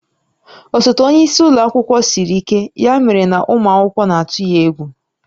Osote onye isi ụlọ akwụkwọ siri ike, ya mere na ụmụ akwụkwọ na-atụ ya egwu